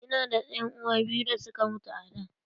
Ina da ƴan uwa biyu da suka mutu a da.